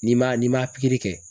N'i ma n'i ma pikiri kɛ.